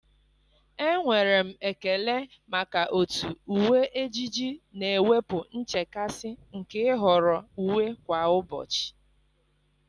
Enwere m ekele maka otú uwe ejiji na-ewepụ nchekasị nke ịhọrọ uwe kwa ụbọchị.